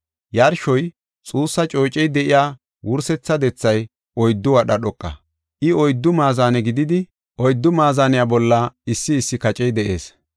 Yarshoy xuussa coocey de7iya wursetha dethay oyddu wadha dhoqa. I oyddu maazane gididi, oyddu maazaniya bolla issi issi kacey de7ees;